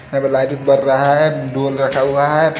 यहां लाईटरिन बन रहा है रखा हुआ है।